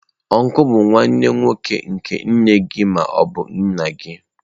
Ọncụl bụ nwanne nwoke nke nne gị ma ọ bụ nna gị.